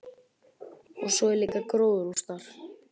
Og svo er líka gróðurhús þar.